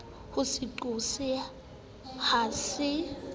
ho se qose ha se